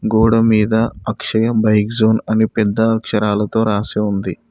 గోడ మీద Akshaya bike zone అని పెద్ద అక్షరాలతో రాసి ఉంది.